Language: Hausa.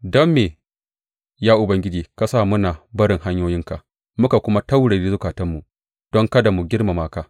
Don me, ya Ubangiji, ka sa muna barin hanyoyinka muka kuma taurare zukatanmu don kada mu girmama ka?